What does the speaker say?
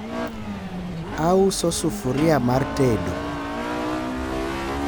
auso sufuria mar tedo